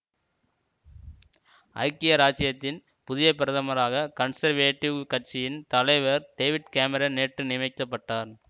ஐக்கிய இராச்சியத்தின் புதிய பிரதமராக கன்சர்வேட்டிவ் கட்சியின் தலைவர் டேவிட் கேமரன் நேற்று நியமிக்க பட்டார்